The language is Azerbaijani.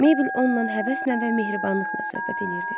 Meybl onunla həvəslə və mehribanlıqla söhbət eləyirdi.